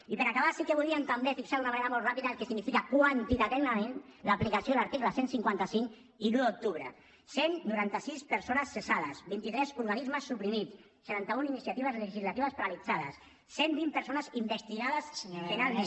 i per acabar sí que volíem també fixar d’una manera molt ràpida el que significa quantitativament l’aplicació de l’article cent i cinquanta cinc i l’un d’octubre cent i noranta sis persones cessades vint tres organismes suprimits setanta un iniciatives legislatives paralitzades cent i vint persones investigades penalment